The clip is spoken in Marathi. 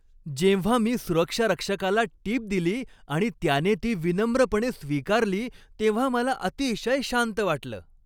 जेव्हा मी सुरक्षारक्षकाला टीप दिली आणि त्याने ती विनम्रपणे स्वीकारली तेव्हा मला अतिशय शांत वाटलं.